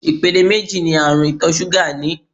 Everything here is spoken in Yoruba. Ìpele méjì ní àrùn ìtọ̀ ṣúgà ní.